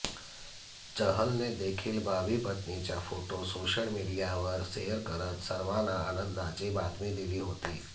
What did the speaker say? चहलने देखील भावी पत्नीचा फोटो सोशळ मीडियावर शेअर करत सर्वांना आनंदाची बातमी दिली होती